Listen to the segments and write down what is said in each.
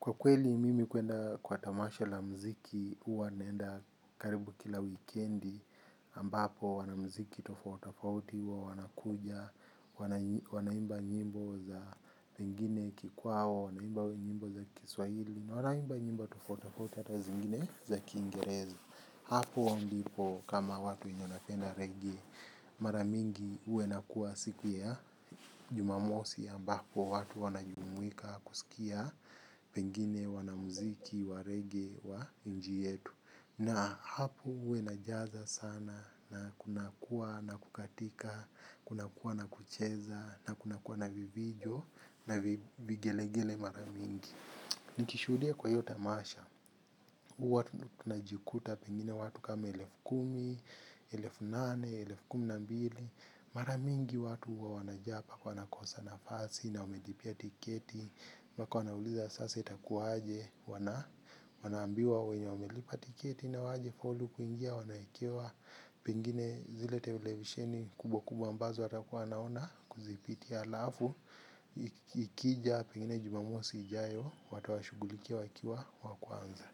Kwa kweli, mimi kuenda kwa tamasha la mziki, huwa naenda karibu kila wikendi, ambapo wanamziki tofauti tofauti, wanakuja, wanaimba nyimbo za pengine kikwao, wanaimba nyimbo za kiswahili, na wanaimba nyimbo tofauti tofauti hata zingine za kingereza. Hapo ndipo kama watu wanapenda rege, mara mingi huwa inakuwa siku ya jumamosi ambapo watu wanajumuika kusikia pengine wanamuziki wa rege wa nchi yetu. Na hapo huwa inajaza sana na kunakuwa na kukatika, kunakuwa na kucheza, na kunakuwa na vifijo, na vigelegele mara mingi. Nikishuhudia kwa hiyo tamasha, huwa tunajikuta pengine watu kama elefu kumi, elefu nane, elefu kumi na mbili, mara mingi watu huwa wanajaa mpaka wanakosa nafasi na wamelipia tiketi, mpaka wanauliza sasa itakuwaje, wanaambiwa wenye wamelipa tiketi na hawajafaulu kuingia, wanawekewa pengine zile tevilevisheni kubwa kubwa ambazo watakuwa wanaona kuzipitia alafu, ikija pingine jumamosi ijayo wata wa shughulikia wakiwa wakwanza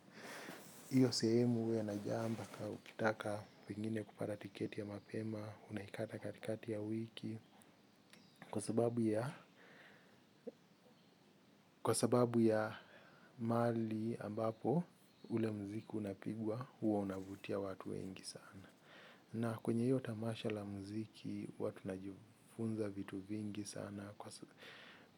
hiyo sehemu huwa inajaa mbaka ukitaka pengine kupata tiketi ya mapema unaikata katikati ya wiki. Kwa sababu ya mahali ambapo ule mziki unapigwa huwa unavutia watu wengi sana. Na kwenye hiyo tamasha la mziki huwa tunajifunza vitu vingi sana.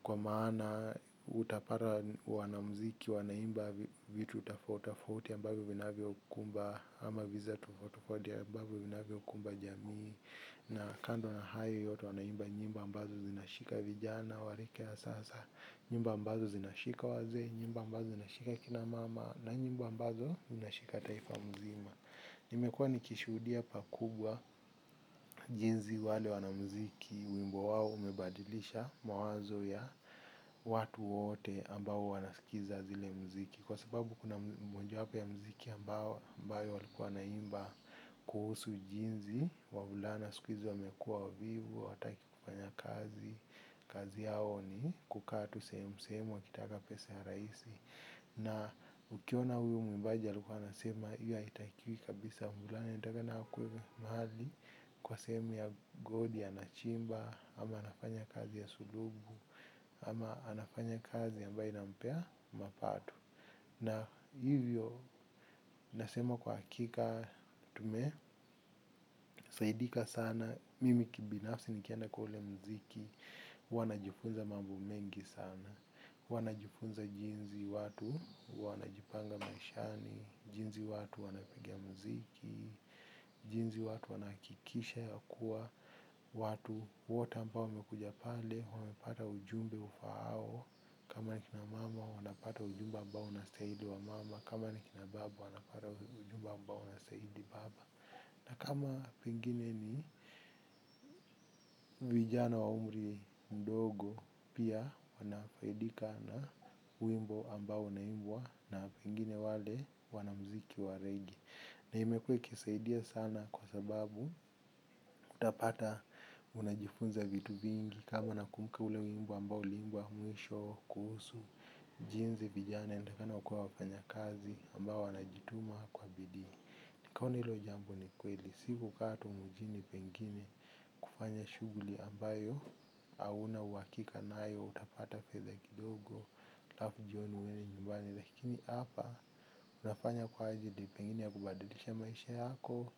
Kwa maana utapata wanamziki, wanaimba vitu tofauti tofauti ambavyo vinavyokumba ama visa tofauti tofauti ambavyo vinakumba jamii. Na kando na hayo yote wanaimba nyimbo ambazo zinashika vijana warika ya sasa, nyimbo ambazo zinashika wazee, nyimbo ambazo zinashika kinamama na nyimbo ambazo zinashika taifa nzima. Nimekua nikishuhudia pakubwa jinsi wale wanamziki wimbo wao umebadilisha mawazo ya watu wote ambao wanaskiza zile mziki kwa sababu kuna moja wapo ya mziki ambayo walikuwa wanaimba kuhusu jinsi wavulana siku hizi wamekuwa wavivu hawataki kufanya kazi. Kazi yao ni kukaa tu sehemu sehemu wakitaka pesa ya rahisi. Na ukiona huyu mwimbaji alikuwa anasema hiyo haitakiwi kabisa mvulana anatakikana akuwe mahali kwa sehemu ya goldi anachimba. Ama anafanya kazi ya sululu. Ama anafanya kazi ambae inampa mapato. Na hivyo nasema kwa hakika tume. Saidika sana mimi kibinafsi nikienda kwa ule mziki. Wanajifunza mambo mengi sana. Huwa najifunza jinsi watu wanajipanga maishani, jinsi watu wanapigia mziki, jinsi watu wanahakikisha yakuwa, watu wote ambao wamekuja pale, wamepata ujumbe ufaao, kama wakina mama wanapata ujumbe ambao unastahili wa mama, kama nikina baba wanapata ujumba ambao una saidi baba. Na kama pengine ni vijana wa umri mdogo pia wanafaidika na wimbo ambao unaimbwa na pengine wale wanamziki wa rege. Na imekuwa ikisaidia sana kwa sababu utapata unajifunza vitu vingi kama na kumbuka ule wimbo ambao uliimbwa mwisho kuhusu jinsi vijana intakikana kuwa wafanyakazi ambao wanajituma kwa bidii. Nikaoni hilo jambo ni kweli, si kukaa tu mjini pengine kufanya shughuli ambayo hauna uhakika nayo utapata fedha kidogo, alafu jioni uende nyumbani. Lakini hapa, unafanya kwa ajili pengine ya kubadilisha maisha yako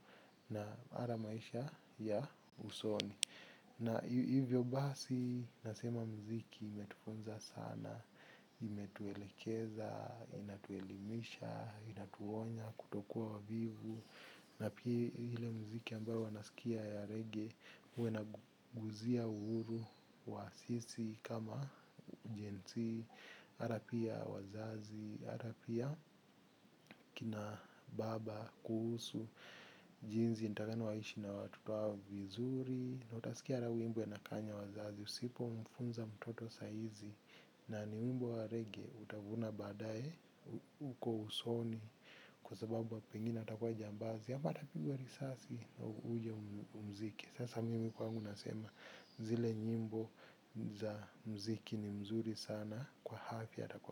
na hata maisha ya usoni. Na hivyo basi nasema mziki imetufunza sana, imetuelekeza, inatuelimisha, inatuonya, kutokuwa wavivu na pia ile mziki ambayo huwa nasikia ya reggae huwa inaguzia uhuru wa sisi kama Gen z hata pia wazazi, hata pia kina baba kuhusu, jinsi intakana waishi na watoto wao vizuri na utasikia wimbo inakanya wazazi usipo mfunza mtoto saa hizi. Na ni wimbo wa reggae utavuna badaye. Uko usoni. Kwa sababu pengine atakuwa jambazi ama tapigwa risasi uje umziki sasa mimi kwangu nasema. Zile nyimbo za mziki ni nzuri sana. Kwa afya na kwa.